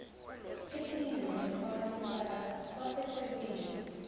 esiyingxenye kamasipala wasethekwini